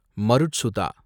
மருட்சுதா